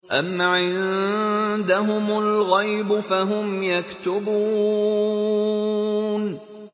أَمْ عِندَهُمُ الْغَيْبُ فَهُمْ يَكْتُبُونَ